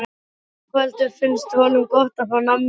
Ingveldur: Finnst honum gott að fá nammi og hrós?